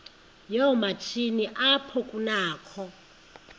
yoomatshini apho kunakho